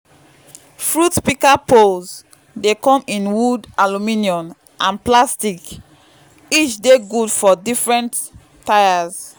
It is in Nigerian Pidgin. fruit pika poles dey come in wood aluminium and plastic—each dey gud for different tires